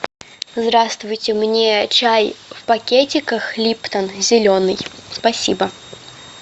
здравствуйте мне чай в пакетиках липтон зеленый спасибо